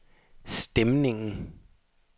stemningen